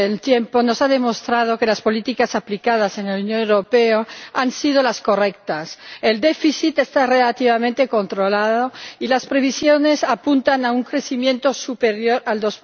Señor Presidente, el paso del tiempo nos ha demostrado que las políticas aplicadas en la Unión Europea han sido las correctas. El déficit está relativamente controlado y las previsiones apuntan a un crecimiento superior al